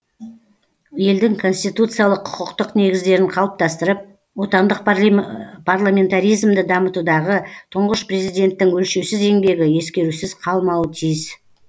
елдің конституциялық құқықтық негіздерін қалыптастырып отандық парламентаризмді дамытудағы тұңғыш президенттің өлшеусіз еңбегі ескерусіз қалмауы тиіс